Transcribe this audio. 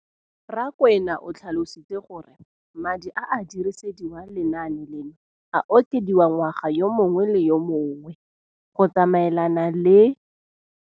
Rakwena o tlhalositse gore madi a a dirisediwang lenaane leno a okediwa ngwaga yo mongwe le yo mongwe go tsamaelana le